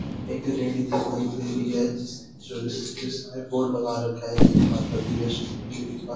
यहाँ पे एक रेढ़ी दिखाई दे रही है जिस जो जिसमें बोर्ड लगा रखा जय माता दी वैष्णो देवी का।